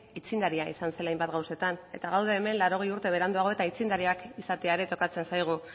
aitzindaria izan zela hainbat gauzetan eta gaude hemen laurogei urte beranduago eta aitzindariak izatea ere tokatzen zaigu